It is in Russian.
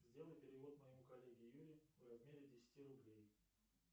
сделай перевод моему коллеге юре в размере десяти рублей